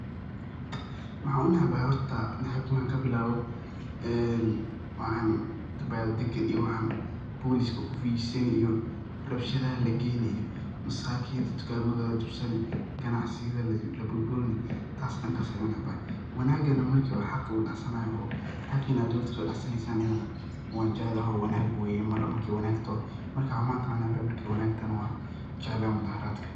Maxaan u necbahay horta naceebka marki aan ka bilaawo, waxan dabaal daga iyo waxan booliska ku fiijisani iyo rabshadaha la geeyni iyo masakiinta tukaamada la jabsani ,ganacsiga dadka laga burburini taas dhankaas ayaan u necbahay ,wanaagana marki oo xaq la dhacsanaayo oo xaqa waan jeclahoo wanaag weeye mudhaaharadka.